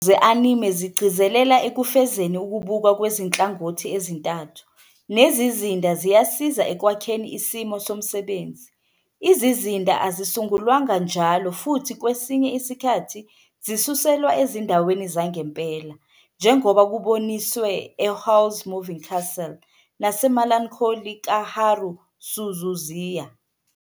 Izigcawu ze-Anime zigcizelela ekufezeni ukubukwa kwezinhlangothi ezintathu, nezizinda ziyasiza ekwakheni isimo somsebenzi. Izizinda azisungulwanga njalo futhi kwesinye isikhathi zisuselwa ezindaweni zangempela, njengoba kuboniswe "eHowl's Moving Castle" "naseMelancholy kaHaru Suzuziya".